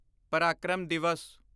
Parakram Divas